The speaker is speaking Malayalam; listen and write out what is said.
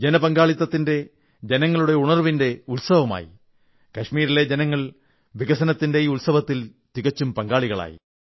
ജനപങ്കാളിത്തത്തിന്റെ ജനങ്ങളുടെ ഉണർവ്വിന്റെ ഉത്സവമായി കാശ്മിരിലെ ജനങ്ങൾ വികസനത്തിന്റെ ഈ ഉത്സവത്തിൽ തികച്ചും പങ്കാളികളായി